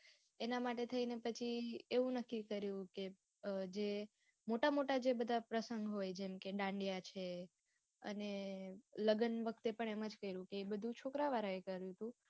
એનાં માટે થઈને પછી એવું નક્કી કર્યું કે જે મોટા મોટા જે બધાં પ્રસંગો હોય જેમ કે દાંડિયા છે અને લગ્ન વખતે પણ એમ જ કયરું હતું એ બધું છોકરાં વાળાએ કર્યું હતું